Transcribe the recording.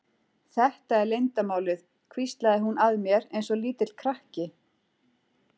Þetta er leyndarmálið hvíslaði hún að mér eins og lítill krakki.